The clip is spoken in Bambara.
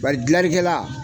Bari dilanlikɛla